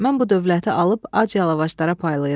Mən bu dövləti alıb ac yalavaclara paylayıram.